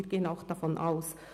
Davon gehen wir auch aus.